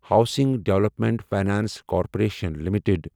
housing development finance corporation limited